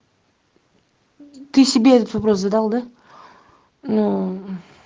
ты себе этот вопрос задал да нуу